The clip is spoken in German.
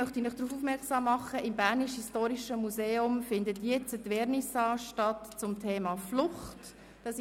Weiter möchte ich Sie darauf aufmerksam machen, dass im Bernischen Historischen Museum in diesem Moment die Vernissage der Ausstellung «Flucht» stattfindet.